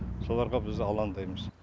соларға біз алаңдаймыз